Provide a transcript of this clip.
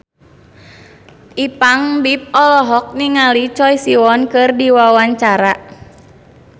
Ipank BIP olohok ningali Choi Siwon keur diwawancara